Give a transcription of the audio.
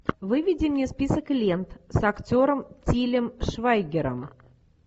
выведи мне список лент с актером тилем швайгером